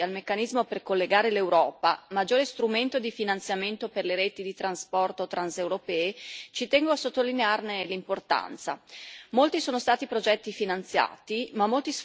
Con riferimento in particolare all'Agenzia dei trasporti e al Meccanismo per collegare l'Europa, maggiore strumento di finanziamento per le reti di trasporto transeuropee, ci tengo a sottolinearne l'importanza.